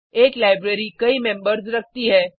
एक लाइब्रेरी कई मेम्बर्स रखती है